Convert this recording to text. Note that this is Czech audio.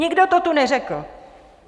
Nikdo to tu neřekl.